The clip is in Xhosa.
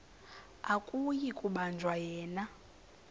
akuyi kubanjwa yena